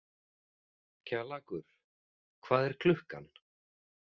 Kjallakur, hvað er klukkan?